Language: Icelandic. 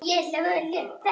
Það er aldrei þannig.